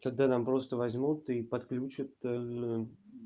тогда нам просто возьмут и подключат